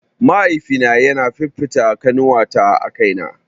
Mahaifina yana fifita ƙanuwata a kaina